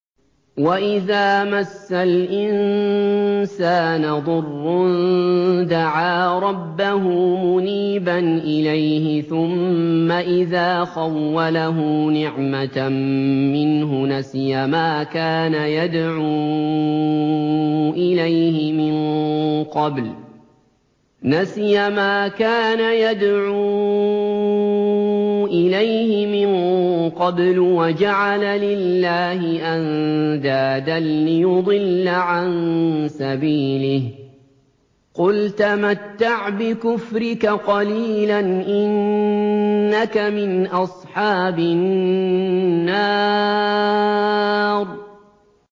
۞ وَإِذَا مَسَّ الْإِنسَانَ ضُرٌّ دَعَا رَبَّهُ مُنِيبًا إِلَيْهِ ثُمَّ إِذَا خَوَّلَهُ نِعْمَةً مِّنْهُ نَسِيَ مَا كَانَ يَدْعُو إِلَيْهِ مِن قَبْلُ وَجَعَلَ لِلَّهِ أَندَادًا لِّيُضِلَّ عَن سَبِيلِهِ ۚ قُلْ تَمَتَّعْ بِكُفْرِكَ قَلِيلًا ۖ إِنَّكَ مِنْ أَصْحَابِ النَّارِ